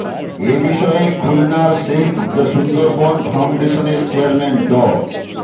এ বিষয়ে খুলনার save the Sundarbans ফাউন্ডেশনের চেয়ারম্যান ড